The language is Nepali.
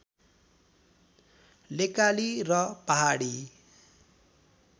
लेकाली र पहाडी